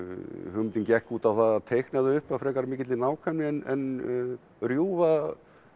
hugmyndin gekk út á það að teikna þau upp af frekar mikilli nákvæmni en rjúfa